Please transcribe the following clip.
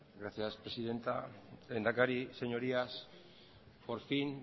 gracias presidenta lehendakari señorías por fin